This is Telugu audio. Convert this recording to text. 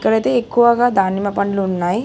ఇక్కడైతే ఎక్కువగా దానిమ్మ పండ్లు ఉన్నాయ్.